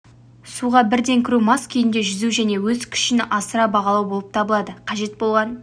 суға бірден кіру мас күйінде жүзу және өз күшін асыра бағалау болып табылады қажет болған